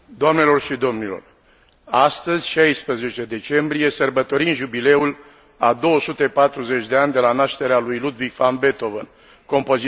Astăzi, 16 decembrie, sărbătorim jubileul a 240 de ani de la nașterea lui Ludwig van Beethoven, compozitorul imnului Europei unite.